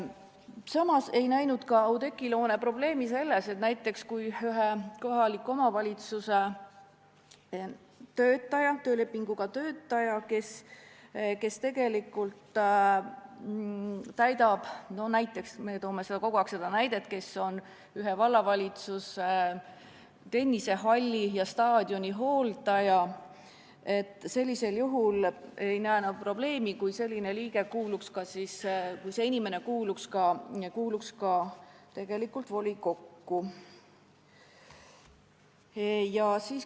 Samas ei näinud ka Oudekki Loone probleemi selles, kui näiteks ühe kohaliku omavalitsuse töölepinguga töötaja – me toome kogu aeg seda näidet –, vallavalitsuse tennisehalli ja staadioni hooldaja, kuuluks ka tegelikult volikokku.